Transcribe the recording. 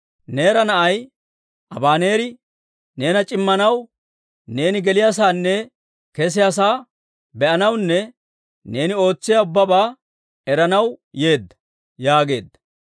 Neera na'ay Abaneeri neena c'immanaw, neeni geliyaasaanne kesiyaa sa'aa be'anawunne neeni ootsiyaa ubbabaa eranaw yeedda» yaageedda.